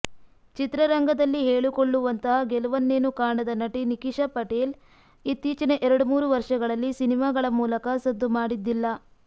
ಚಿತ್ರರಂಗದಲ್ಲಿ ಹೇಳಿಕೊಳ್ಳುವಂತಹ ಗೆಲವನ್ನೇನು ಕಾಣದ ನಟಿ ನಿಖಿಶಾ ಪಟೇಲ್ ಇತ್ತೀಚಿನ ಎರಡ್ಮೂರು ವರ್ಷಗಳಲ್ಲಿ ಸಿನಿಮಾಗಳ ಮೂಲಕ ಸದ್ದು ಮಾಡಿದ್ದಿಲ್ಲ